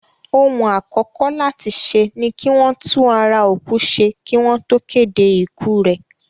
Ohun àkọ́kọ́ láti ṣe ni kí wọ́n tún ara òkú ṣe kí wọ́n tó kéde ikú rẹ̀.